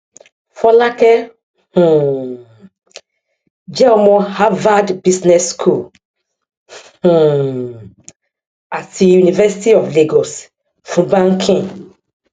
fọlákẹ um jẹ ọmọ harvard business school um àti university of lagos fún banking